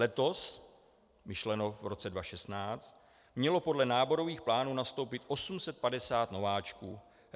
Letos - myšleno v roce 2016 - mělo podle náborových plánů nastoupit 850 nováčků.